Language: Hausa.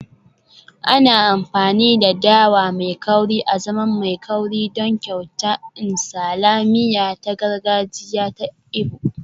Ana amfani da dawa mai kauri azaman mai kauri don kyauta nsala, miya ta gargajiya ta Igbo